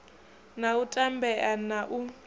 na u tambea na u